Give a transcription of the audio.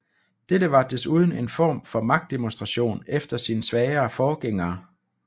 Dette var desuden en form for magtdemonstration efter sin svagere forgænger